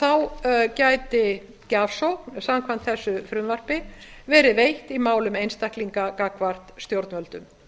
þá gæti gjafsókn samkvæmt þessu frumvarpi verið veitt í málum einstaklinga gagnvart stjórnvöldum